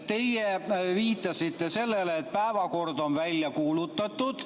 Teie viitasite sellele, et päevakord on välja kuulutatud.